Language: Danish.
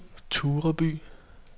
Tureby